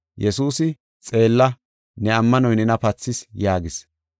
Yesuusi, “Xeella, ne ammanoy nena pathis” yaagis.